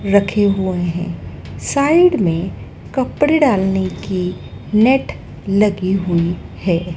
रखे हुए हैं साइड में कपड़े डालने की नेट लगी हुई है।